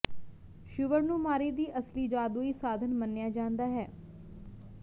sure ਨੂੰ ਮਾਰੀ ਦੀ ਅਸਲੀ ਜਾਦੂਈ ਸਾਧਨ ਮੰਨਿਆ ਜਾਂਦਾ ਹੈ